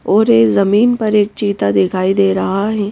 और एक जमीन पर एक चीता दिखाई दे रहा है ।